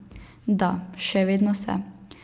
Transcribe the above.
Da, še vedno se.